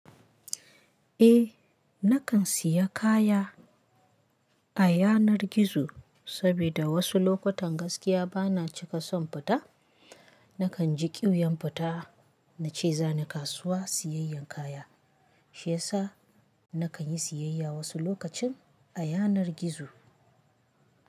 Eh, nakan siya kaya a yanar gizo saboda wasu lokutan gaskiya bana cika son fita. Nakan ji ƙuiwyan fita na ce zani kasuwa siyayyen kaya. Shiyasa nakan yi siyayya wasu lokacin a yanar gizo.